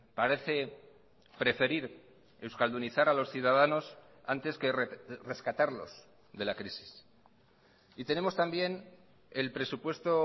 parece preferir euskaldunizar a los ciudadanos antes que rescatarlos de la crisis y tenemos también el presupuesto